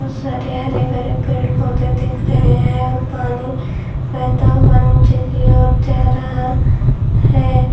बहुत सारे हरे भरे पेड़ पौधे दिख रहे हैं और पानी बहता हुआ नीचे की ओर जा रहा है।